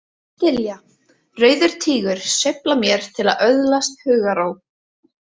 Þylja: Rauður Tígur sveiflar mér til að öðlast hugarró!